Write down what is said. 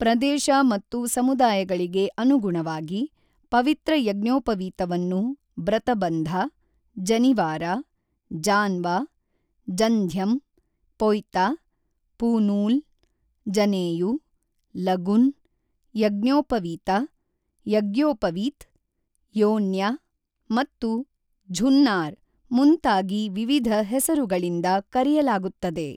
ಪ್ರದೇಶ ಮತ್ತು ಸಮುದಾಯಗಳಿಗೆ ಅನುಗುಣವಾಗಿ, ಪವಿತ್ರ ಯಜ್ಞೋಪವೀತವನ್ನು ಬ್ರತಬಂಧ, ಜನಿವಾರ, ಜಾನ್ವ, ಜಂಧ್ಯಂ, ಪೊಯ್ತ, ಪೂನೂಲ್, ಜನೇಯು, ಲಗುನ್, ಯಜ್ಞೋಪವೀತ, ಯಗ್ಯೋಪವೀತ್, ಯೋನ್ಯ ಮತ್ತು ಝುನ್ನಾರ್ ಮುಂತಾಗಿ ವಿವಿಧ ಹೆಸರುಗಳಿಂದ ಕರೆಯಲಾಗುತ್ತದೆ.